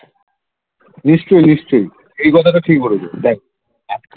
নিশ্চয় নিশ্চয় এই কথাটা ঠিক বলেছ।